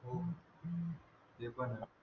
ते पण हाय